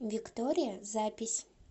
виктория запись